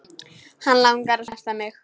Hann langar að snerta mig.